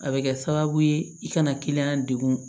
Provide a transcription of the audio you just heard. A bɛ kɛ sababu ye i kana kiliyan degun